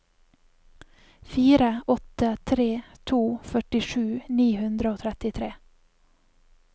fire åtte tre to førtisju ni hundre og trettitre